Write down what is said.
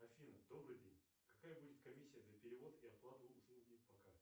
афина добрый день какая будет комиссия за перевод и оплату услуги по карте